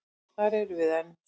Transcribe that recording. Þar erum við enn.